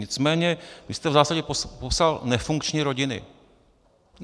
Nicméně vy jste v zásadě popsal nefunkční rodiny.